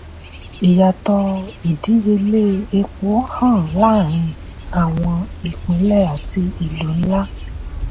ìyàtọ̀ ìdíyelé epo hàn lárin àwọn ìpínlẹ̀ àti ìlú ńlá.